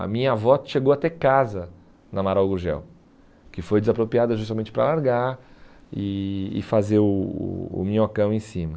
A minha avó chegou a ter casa na Amaral Gurgel, que foi desapropriada justamente para largar e e fazer o o o minhocão em cima.